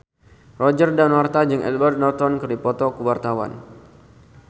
Roger Danuarta jeung Edward Norton keur dipoto ku wartawan